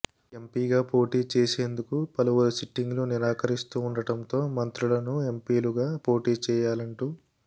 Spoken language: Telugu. ఎంపీగా పోటీ చేసేందుకు పలువురు సిట్టింగ్లు నిరాకరిస్తూ ఉండటంతో మంత్రులను ఎంపీలుగా పోటీ చేయాలంటూ